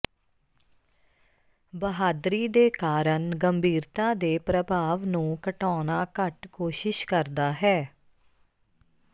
ਬਹਾਦਰੀ ਦੇ ਕਾਰਨ ਗੰਭੀਰਤਾ ਦੇ ਪ੍ਰਭਾਵ ਨੂੰ ਘਟਾਉਣਾ ਘੱਟ ਕੋਸ਼ਿਸ਼ ਕਰਦਾ ਹੈ